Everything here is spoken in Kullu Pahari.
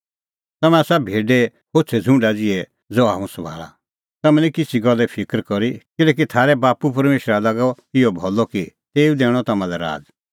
तम्हैं आसा भेडे होछ़ै छ़ुंडा ज़िहै ज़हा हुंह सभाल़ा तम्हैं निं किछ़ी गल्ले फिकर करी किल्हैकि थारै बाप्पू परमेशरा लागअ इहअ भलअ कि तेऊ दैणअ तम्हां लै राज़